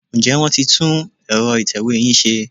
Ǹjẹ́ wọ́n ti tún ẹ̀rọ ìtẹ̀wé yín ṣe?